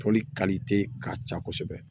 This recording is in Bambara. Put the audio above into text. Toli ka ca kosɛbɛ